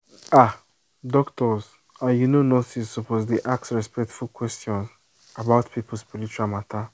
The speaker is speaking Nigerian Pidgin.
ah doctors and you know nurses suppose dey ask respectful question about people spiritual matter